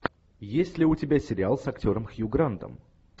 есть ли у тебя сериал с актером хью грантом